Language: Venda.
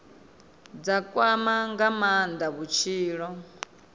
dza kwama nga maanda vhutshilo